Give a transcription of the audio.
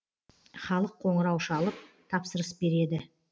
халық қоңырау шалып тапсырыс береді